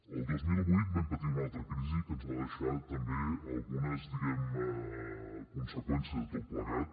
el dos mil vuit vam patir una altra crisi que ens va deixar també algunes conseqüències de tot plegat